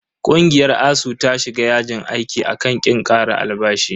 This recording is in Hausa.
Ƙungiyar ASUU ta shiga yajin aiki a kan ƙin ƙara albashi.